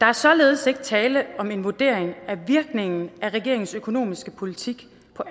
er således ikke tale om en vurdering af virkningen af regeringens økonomiske politik i